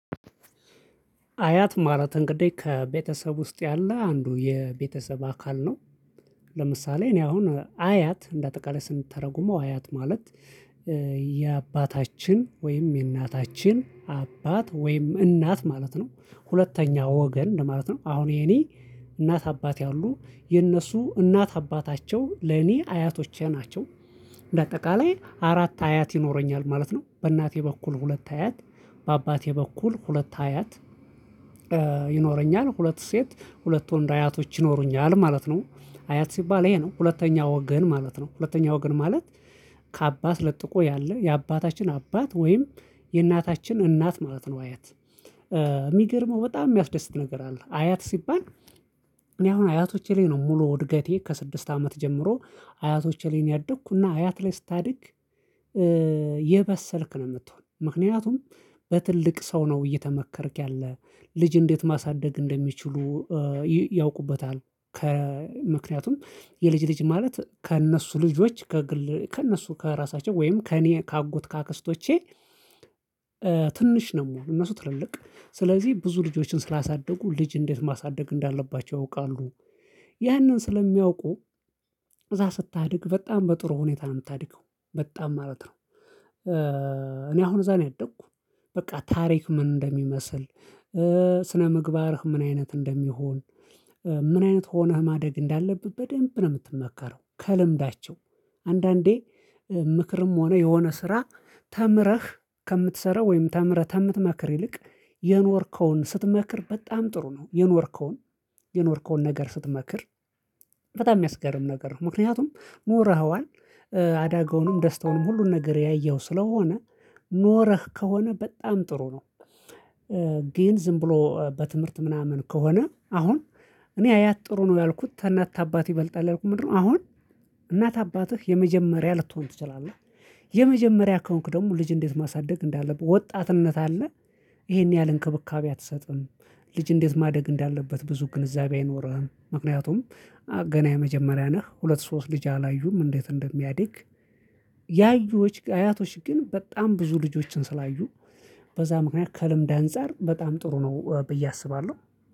አያት ማለት እንግዲህ ከቤተሰብ ውስጥ ያለ አንዱ የቤተሰብ አካል ነው። ለምሳሌ እኔ አሁን አያት እንደ አጠቃላይ ስንተረጉመው አያት ማለት የአባታችን ወይም የእናታችን አባት ወይም እናት ማለት ነው። ሁለተኛ ወገን ለማለት ነው አሁን የኔ እናት አባት ያሉ የእነሱ እናት አባታቸው ለኔ አያቶቼ ናቸው። በአጠቃላይ አራት አያት ይኖረኛል ማለት ነው። በእናቴ በኩል ሁለት አያት በአባቴ በኩል ሁለት አያት። ይኖረኛል ሁለት ሴት ሁለት ወንድ አያቶች ይኖሩኛል ማለት ነው። አያት ሲባል ይሄ ነው ሁለተኛ ወገን ማለት ነው። ሁለተኛ ወገን ማለት ከአባት ለጥቆ ያለ የአባታችን አባት ወይም የእናታችን እናት ማለት ነው። አያት እሚገርመው በጣም የሚያስደስት ነገር አለ። አያት ሲባል። እኔ አሁን አያቶቼ ላይ ነው ሙሉ እድገቴ ከስድስት አመት ጀምሮ አያቶቼ ላይ ነው ያደግኩና አያት ላይ ስታድግ። የበሰልክ ነው ምትሆን ምክንያቱም በትልቅ ሰው ነው እየተመከርክ ያለ ልጅ እንዴት ማሳደግ እንደሚችሉ ያውቁበታል። ከምክንያቱም የልጅ ልጅ ማለት ከእነሱ ልጆች ከእነሱ ከራሳቸው ወይም ከእኔ ከአጎት ከአክስቶቼ ትንሽ ነው ምሆነው እነሱ ትልልቅ። ስለዚህ ብዙ ልጆችን ስላሳደጉ ልጅ እንዴት ማሳደግ እንዳለባቸው ያውቃሉ። ያንን ስለሚያውቁ እዛ ስታድግ በጣም በጥሩ ሁኔታ ነው ምታድገው በጣም ማለት ነው። እኔ አሁን እዛ ነው ያደግኩ። በቃ ታሪክ ምን እንደሚመስል ስነ ምግባርህ ምን አይነት እንደሚሆን። ምን አይነት ሆነህ ማደግ እንዳለብህ በደንብ ነው ምትመከረው ከልምዳቸው። አንዳንዴ ምክርም ሆነ የሆነ ስራ ተምረህ ከምትሰራ ወይም ተምረህ ተምትመክር ይልቅ የኖርከውን ስትመክር በጣም ጥሩ ነው። የኖርከውን የኖርከውን ነገር ስትመክር። በጣም የሚያስገርም ነገር ነው ምክንያቱም ኖረኽዋል። አዳጋውንም ደስታውንም ሁሉን ነገር ያየኽው ስለሆነ ኖረኽ ከሆነ በጣም ጥሩ ነው። ግን ዝም ብሎ በትምህርት ምናምን ከሆነ አሁን እኔ አያት ጥሩ ነው ያልኩት ተእናት ታአባት ይበልጣል ያልኩት ምንድን ነው? አሁን እናት አባትህ የመጀመሪያ ልትሆን ትችላለህ። የመጀመሪያ ከሆንክ ደግሞ ልጅ እንዴት ማሳደግ እንዳለብህ ወጣትነት አለ። ይሄን ያህል እንክብካቤ አትሰጥም። ልጅ እንዴት ማደግ እንዳለበት ብዙ ግንዛቤ አይኖርህም። ምክንያቱም ገና የመጀመሪያ ነህ ሁለት ሶስት ልጅ አላዩም እንዴት እንደሚያድግ። አያቶች ግን በጣም ብዙ ልጆችን ስላዩ በዛ ምክንያት ከልምድ አንፃር በጣም ጥሩ ነው ብዬ አስባለሁ።